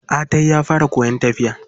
Atai ya fara koyan tafiya.